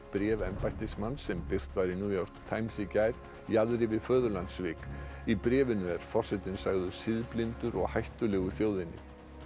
bréf embættismanns sem birt var í New York Times í gær jaðri við í bréfinu er forsetinn sagður siðblindur og hættulegur þjóðinni